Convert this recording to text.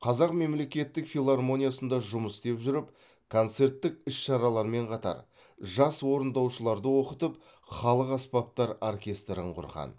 қазақ мемлекеттік филармониясында жұмыс істеп жүріп концерттік іс шаралармен қатар жас орындаушыларды оқытып халық аспаптар оркестрін құрған